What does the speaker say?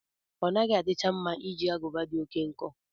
Ọnaghị adicha mma iji agụba dị oké nkọ.